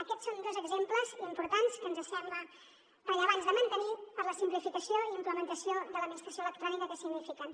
aquests són dos exemples importants que ens sembla rellevant de mantenir per la simplificació i implementació de l’administració electrònica que signifiquen